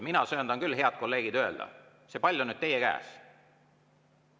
Mina söandan küll, head kolleegid, öelda, et pall on nüüd teie käes.